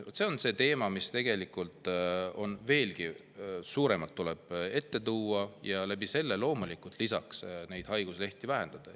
Vot see on teema, mis tuleb veelgi rohkem esile tuua, et seeläbi ka haiguslehti vähendada.